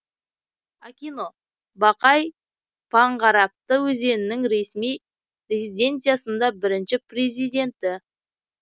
акино бақай панғарапты өзінің ресми резиденциясында бірінші президенті